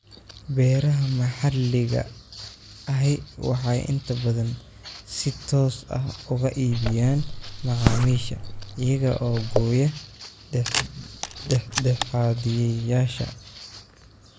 Beeraha maxalliga ahi waxay inta badan si toos ah uga iibiyaan macaamiisha, iyaga oo gooya dhexdhexaadiyeyaasha.